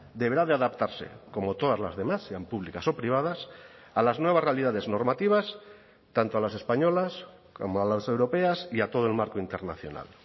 deberá de adaptarse como todas las demás sean públicas o privadas a las nuevas realidades normativas tanto a las españolas como a las europeas y a todo el marco internacional